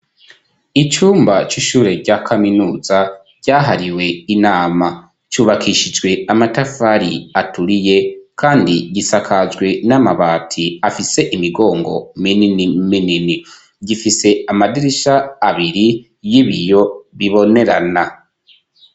Icumba c'ishure rya kaminuza ryahariwe inama cubakishijwe amatafari aturiye kandi gisakajwe n'amabati afise imigongo minini minini, gifise amadirisha abiri y'ibiyo bibonerana.